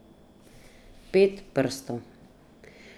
Pet prstov.